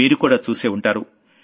మీరుకూడా చూసే ఉంటారు